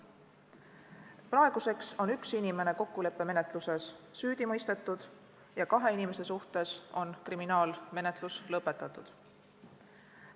Praeguseks on üks inimene kokkuleppemenetluses süüdi mõistetud ja kahe inimese suhtes on kriminaalmenetlus lõpetatud.